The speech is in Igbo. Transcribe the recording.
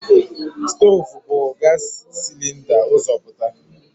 Stoovu bu gaasi silinda ụzọ pụta.